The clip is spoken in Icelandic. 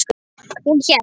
Hún hélt.